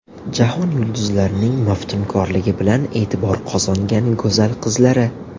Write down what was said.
Jahon yulduzlarining maftunkorligi bilan e’tibor qozongan go‘zal qizlari .